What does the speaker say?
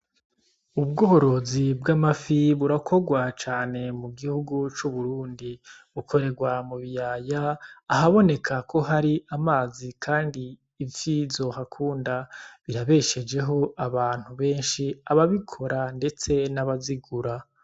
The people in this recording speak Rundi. Ubworozi bw'amafi burakogwa cane mugihugu c'Uburundi bukoregwa mubiyaya ahaboneka ko hari amazi kandi ifi zohakunda, birabeshejeho abantu benshi ababikora ndetse n' abazigura.